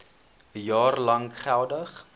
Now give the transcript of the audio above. jaar lank geldig